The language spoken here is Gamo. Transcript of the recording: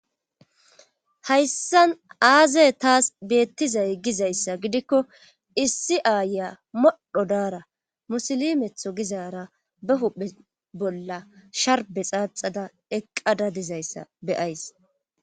Hayssan aazay taas beettizay gizayssa gidikko issi aaya modho daara musili metho gizaara be huphe bolla sharbe xaaxada eqqada dizayssa beyays